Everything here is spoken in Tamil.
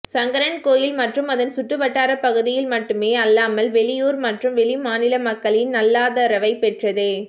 சங்கரன்கோவில் மற்றும் அதன் சுற்றுவட்டாரப் பகுதிகள் மட்டுமே அல்லாமல் வெளி ஊர் மற்றும் வெளிமாநில மக்களின் நல்லாதரவைப் பெற்றது